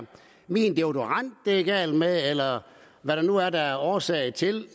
min deodorant det er galt med eller hvad der nu er der er årsag til